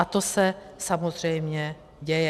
A to se samozřejmě děje.